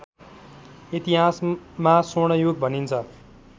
इतिहासमा स्वर्णयुग भनिन्छ